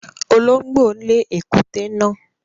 Olóngbó lè ekuté náà